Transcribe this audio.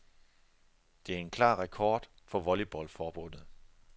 Det er en klar rekord for volleyballforbundet.